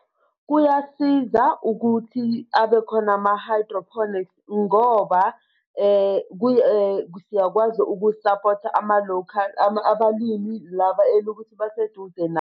Kuyasiza ukuthi abe khona ama-hydroponics ngoba siyakwazi ukusaphotha ama-local abalimi laba elukuthi baseduze na.